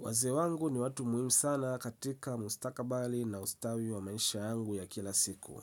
Wazee wangu ni watu muhimu sana katika mustakabali na ustawi wa maisha yangu ya kila siku.